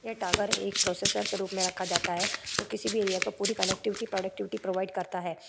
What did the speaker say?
यह टावर एक प्रोसेसर के रूप में रखा जाता है जो किसी भी एरिया को पूरी कनेक्टिविटी प्रोडक्टिविटी प्रोवाइड करता है।